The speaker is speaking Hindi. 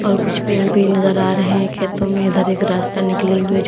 और कुछ पेड़ भी नजर आ रहे हैं खेतों में इधर एक रास्ता निकले हुए जो--